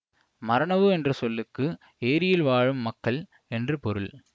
மரனவு என்ற சொல்லுக்கு ஏரியில் வாழும் மக்கள் என்று பொருள்